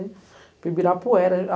Para o Ibirapuera.